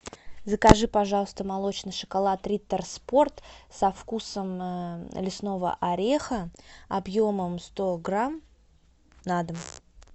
закажи пожалуйста молочный шоколад риттер спорт со вкусом лесного ореха объемом сто грамм на дом